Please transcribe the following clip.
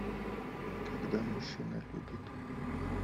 когда мужчина любит